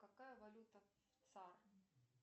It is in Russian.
какая валюта в цар